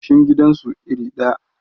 goshin gidan su iri ɗaya